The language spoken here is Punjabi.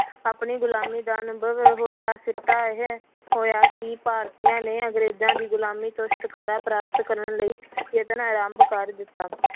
ਆਪਣੀ ਗੁਲਾਮੀ ਦਾ ਅਨੁਭਵ ਹੋਇਆ ਸਿੱਟਾ ਇਹ ਹੋਇਆ ਕਿ ਭਾਰਤੀਆਂ ਨੇ ਅੰਗਰੇਜ਼ਾਂ ਦੀ ਗੁਲਾਮੀ ਤੋਂ ਛੁਟਕਾਰਾ ਪ੍ਰਾਪਤ ਕਰਨ ਲਈ ਯਤਨ ਆਰੰਭ ਕਰ ਦਿੱਤਾ।